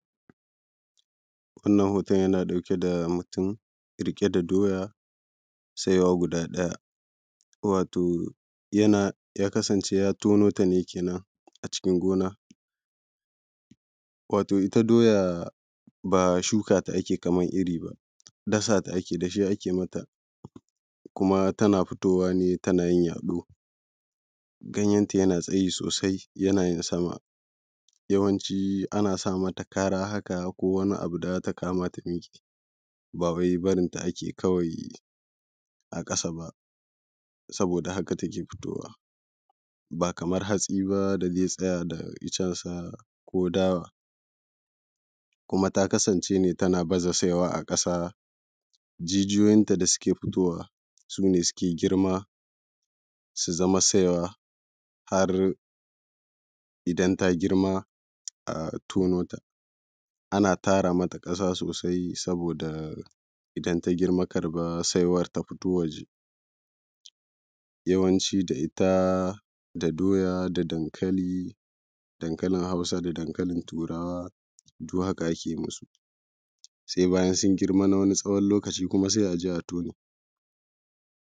Wannan hooton yana ɗauke da mutum riƙe da doya saiwa guda ɗaya, wato yana ya kasance ya tono ta ne kenan acikin gona. Wato ita doya ba shuka ta ake yi kamar iri ba, dasa ta ake yi, dashee ake mata, kuma tana fitowa ne tana yin yaɗoo, ganyenta yana tsayi soosai yana yin sama, yawanci ana sa mata karaa haka ko wani abu da za ta kama ta riƙe, baa wai barinta ake kawai a ƙasa ba, sabooda haka take fitowa, baa kamar hatsi baa da zai tsaya da iccensa ko dawa, kuma ta kasance ne tana baza saiwa a ƙasa, jijiyoyinta da suke fitowa sune suke girma su zama saiwa, har idan ta girma a tono ta. Ana tara mata ƙasa soosai sabooda idan ta girma saiwar kar ta ɸito waje, yawanci da ita da doya da dankali dankalin Hausa da dankalin Turawa haka ake masu, sai bayan sun girma na tsawon wani lokaci sai a je a tone.